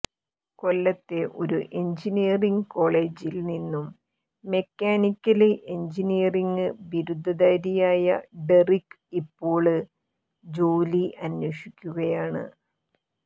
കൊല്ലത്തെ ഒരു എഞ്ചിനീയറിങ് കോളേജിൽ നിന്നും മെക്കാനിക്കല് എഞ്ചിനീയറിങ് ബിരുദധാരിയായ ഡെറിക് ഇപ്പോള് ജോലി അന്വേഷിക്കുകയാണ്